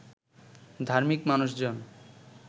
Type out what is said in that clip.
ধার্মিক মানুষজন